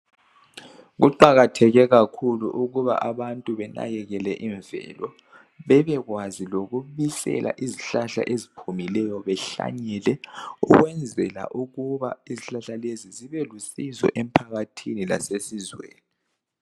Kuqakatheke ukuba abantu benakekele imvelo, bebekwazi lokubisela izihlahla eziphumileyo behlanyele ukwenzela ukuba izihlahla lezi zibe lusizo emphakathini lasesizweni.